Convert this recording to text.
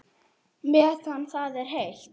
Meðan það er heitt.